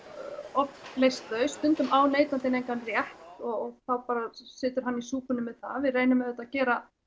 oft leyst þau stundum á neytandinn engan rétt og þá situr hann í súpunni með það við reynum auðvitað að gera